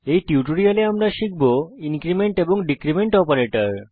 এই টিউটোরিয়ালে আমরা শিখব ইনক্রীমেন্ট এবং ডীক্রীমেন্ট অপারেটর